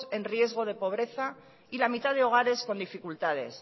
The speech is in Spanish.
en riesgo de pobreza y la mitad de hogares con dificultades